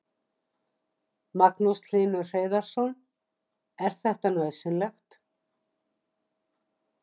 Magnús Hlynur Hreiðarsson: Er þetta nauðsynlegt?